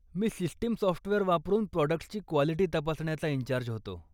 मी system software वापरून products ची quality तपासण्याचा इन्चार्ज होतो.